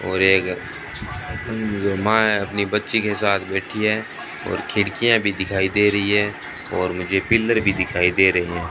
और एक उम् मां है अपनी बच्ची के साथ बैठी है और खिड़कियां भी दिखाई दे रही है और मुझे पिलर भी दिखाई दे रहे।